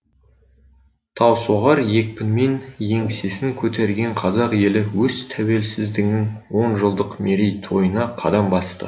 таусоғар екпінмен еңсесін көтерген қазақ елі өз тәуелсіздігінің онжылдық мерейтойына қадам басты